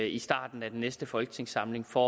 i starten af næste folketingssamling for